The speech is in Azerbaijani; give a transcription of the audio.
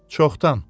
Çoxdan.